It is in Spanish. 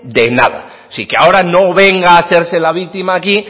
de nada así que ahora no venga a hacerse la víctima aquí